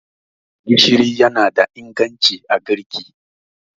gishiri yana da inganci a girki